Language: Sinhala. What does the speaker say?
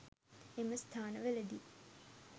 එම ස්ථාන වලදී